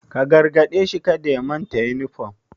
Ka gargade shi kada ya manta da yunifom!